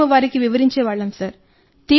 మేము వారికి వివరించే వాళ్ళం సార్